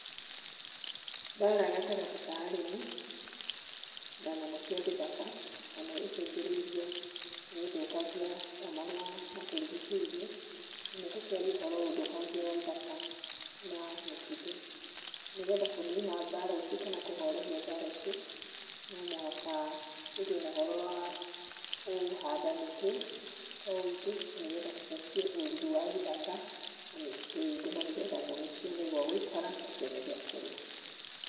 Mbaara gatagati ka arĩmi na nyamũ cia gĩthaka mũno icũngĩrĩirwo nĩũthũkangia wa marĩa matũrigicĩrie mũno tũkĩaria ũndũ wa ũthũkangia wa ithaka na {pause]mĩtitũ nĩgetha kũnina mbaara ici kana kũhorohia mbaara ici, no mũhaka tũgĩe na ũhoro wa kũhanda mĩtĩ kwa ũingĩ nĩgetha tũcokie ũrori wa ithaka na mĩtitũ itũ na nĩgetha nyamũ cione gwa gũikara na cione gĩa kũrĩa.